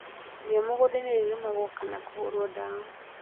Riia mũgũndainĩ nĩrĩrĩmagwo kana kũhũrwo ndawa